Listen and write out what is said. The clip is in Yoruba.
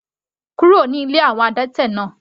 Kúrò ní ilé àwọn adẹ́tẹ̀ náà.